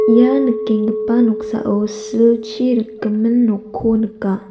ia nikenggipa noksao silchi rikgimin nokko nika.